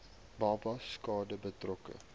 babas skade berokken